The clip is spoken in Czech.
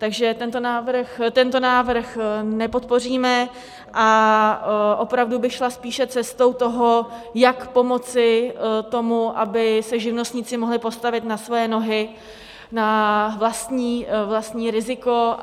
Takže tento návrh nepodpoříme a opravdu bych šla spíše cestou toho, jak pomoci tomu, aby se živnostníci mohli postavit na svoje nohy na vlastní riziko.